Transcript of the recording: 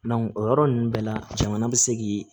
o yɔrɔ ninnu bɛɛ la jamana bɛ se k'i